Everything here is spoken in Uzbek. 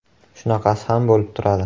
Shunaqasi ham bo‘lib turadi.